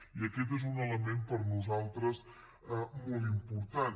i aquest és un element per nosaltres molt important